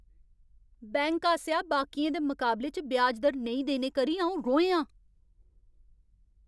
Bank आसेआ बाकियें दे मकाबले च ब्याज दर नेईं देने करी अ'ऊं रोहें आं।